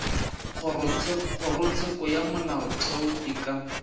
kgorotsheko ya molaotheo e ka